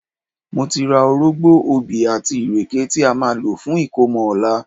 Mo ti ra orógbó, obì àti ìrèké tí a máa lò fún ìkómọ ọ̀la